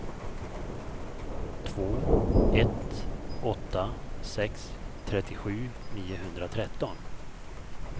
två ett åtta sex trettiosju niohundratretton